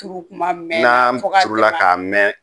Turu kuma mɛnna fo ka tɛmɛ a kan. Na turula ka mɛn